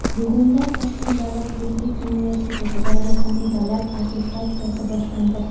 Bugundan Toshkent davlat yuridik universitetida yakuniy davlat attestatsiyasi boshlandi.